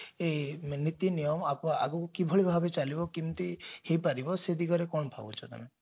ନୀତି ନିୟମ ଆଗକୁ ଆଗକୁ କିଭଳି ଭାବେ ଚାଲିବ କେମିତି ହେଇପାରିବ ସେ ଦିଗରେ କଣ ଭାବୁଛ ତମେ